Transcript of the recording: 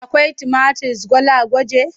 Akwai tumatir gwalagwaje?